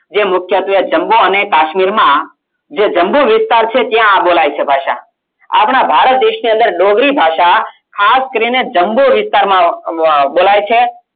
જે મુખ્યત્વે જમ્મુ અને કાશ્મીર માં જે જમ્મુ વિસ્તાર છે ત્યાં આ બોલાય છે ભાષા આપણા ભારત દેશની અંદર ડોગરી ભાષા ખાસ કરીને જમ્મુ અમ વિસ્તારમાં બોલાય છે